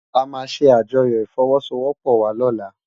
Amá sé ájòyò ifòwòsówòpò wá lòlá